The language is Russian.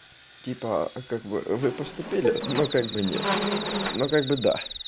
типа в как бы вы поступили ну как бы нет ну как бы да